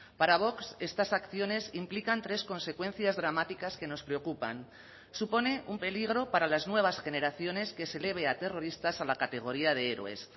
para vox estas acciones implican tres consecuencias dramáticas que nos preocupan supone un peligro para las nuevas generaciones que se eleve a terroristas a la categoría de héroes